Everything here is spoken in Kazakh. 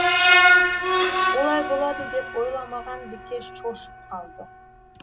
олай болады деп ойламаған бикеш шошып қалды